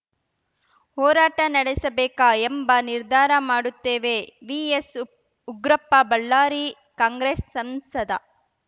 ಹೋರಾಟ ನಡೆಸಬೇಕಾ ಎಂಬ ನಿರ್ಧಾರ ಮಾಡುತ್ತೇವೆ ವಿಎಸ್‌ಉಗ್ರಪ್ಪ ಬಳ್ಳಾರಿ ಕಾಂಗ್ರೆಸ್‌ ಸಂಸದ